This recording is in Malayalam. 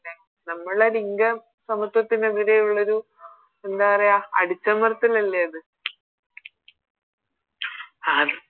നമ്മളെ ലിംഗ സമത്വത്തിനെതിരെയുള്ളൊരു എന്താ പറയാ അടിച്ചമർത്തലല്ലേ അത്